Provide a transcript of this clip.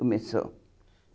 Começou.